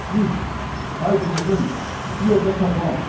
Gir! Haydi, qızım, şu yerdə saqlan!